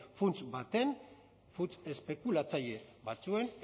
funts baten funts espekulatzaile batzuen